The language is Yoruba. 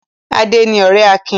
Adé ni ọ̀rẹ́ Akin.